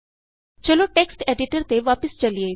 ਚਲੋ text editor ਤੇ ਵਾਪਸ ਚਲੀਏ